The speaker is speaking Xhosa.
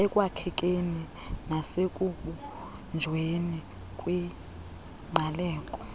ekwakhekeni nasekubunjweni kwingqaleko